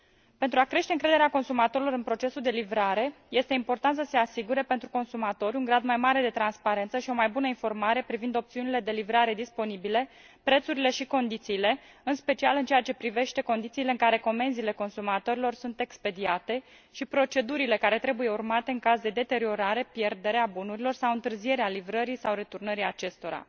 Pentru a crește încrederea consumatorilor în procesul de livrare, este important să se asigure pentru consumator un grad mai mare de transparență și o mai bună informare privind opțiunile de livrare disponibile, prețurile și condițiile, în special în ceea ce privește condițiile în care comenzile consumatorilor sunt expediate și procedurile care trebuie urmate în caz de deteriorare, pierdere a bunurilor sau întârzierea livrării sau returnării acestora.